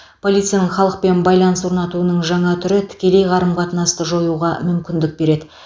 полицияның халықпен байланыс орнатуының жаңа түрі тікелей қарым қатынасты жоюға мүмкіндік береді